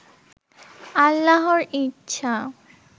আল্লাহর ইচ্ছা